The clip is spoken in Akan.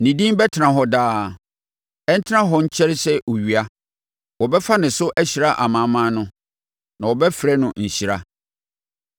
Ne din bɛtena hɔ daa; ɛntena hɔ nkyɛre sɛ owia. Wɔbɛfa ne so ahyira amanaman no, na wɔbɛfrɛ no nhyira.